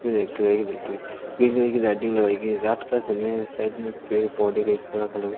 red colour की green colour की lighting लगाई गई है रात का समय है साइड में पेड़ पौधे --